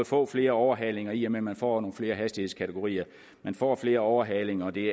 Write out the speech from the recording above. få flere overhalinger i og med at man får flere hastighedskategorier men får flere overhalinger og det